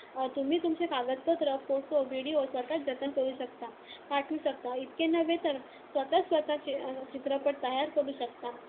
तुम्ही तुमचे कागदपत्र, फोटो, व्हिडिओ स्वतःच जतन करू शकता, पाठवू शकता. इतके नव्हे, तर स्वतःच स्वतःचा चित्रपट तयार करू शकता.